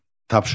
Tapşırıq.